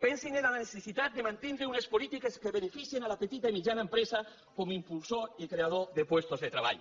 pensin en la necessitat de mantindre unes polítiques que beneficien la petita i mitjana empresa com a impulsor i creador de llocs de treball